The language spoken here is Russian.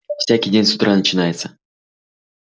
всякий день с утра начинается